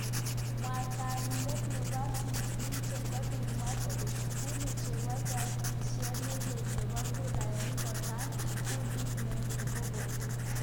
Mwataindet nebo Bi Clinton kokimwa kole shughuli chebo kaitisiat nelel nebo kuraini kotai, kundit nenyi koungagei.